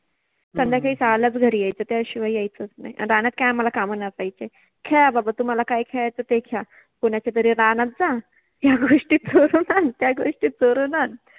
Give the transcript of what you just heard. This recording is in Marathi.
संध्याकाळि सहालाच घरि यायच त्याशिवाय यायचच नाहि, रानात काय आम्हाला काम नसायचे, खेळा बाबा तुम्हाला काय खेळायच ते ख्रेळा. कुनाच्या तरि रानात जा, या गोष्टी चोरुन आण, त्या गोष्टी चोरुन आण